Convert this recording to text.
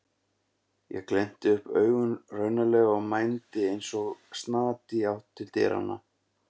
Ég glennti upp augun raunalega og mændi eins og snati í átt til dyranna.